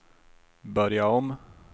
börja om